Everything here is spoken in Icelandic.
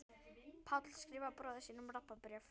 Páll skrifar bróður sínum Rabba bréf.